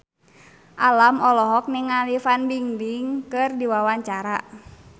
Alam olohok ningali Fan Bingbing keur diwawancara